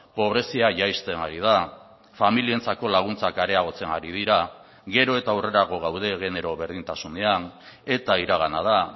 pobrezia jaisten ari da familientzako laguntzak areagotzen ari dira gero eta aurrerago gaude genero berdintasunean eta iragana da